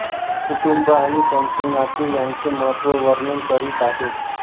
कुटुंब आणि त्यांचे नाते यांचे महत्त्व वर्णन करीत आहे